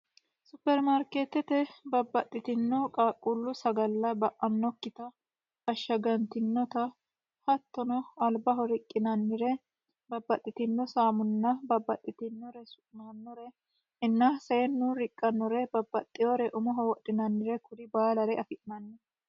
supermaarkeetete babbaxxitino qaaqqullu sagalla ba'annokkita ashshagantinota hattono albaho riqqinannire babbaxxitino saamunna babbaxxitinnore su'naannore inna seennu riqqannore babbaxxihore umoho wodhinannire kuri baalare afi'manno